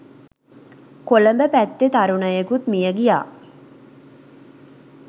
කොළඹ පැත්තෙ තරුණයකුත් මිය ගියා.